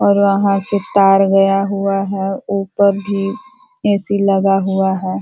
और वहाँ से तार गया हुआ है ऊपर भी ए.सी. लगा हुआ है।